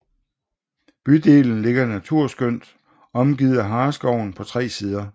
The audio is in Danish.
Bydelen ligger naturskønt omgivet af Hareskoven på 3 sider